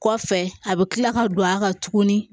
Kɔfɛ a bɛ kila ka don a kan tuguni